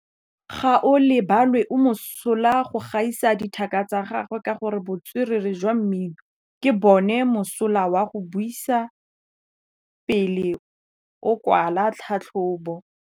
Gaolebalwe o mosola go gaisa dithaka tsa gagwe ka botswerere jwa mmino. Ke bone mosola wa go buisa pele o kwala tlhatlhobô.